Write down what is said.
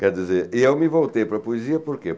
Quer dizer... Eu me voltei para a poesia por quê?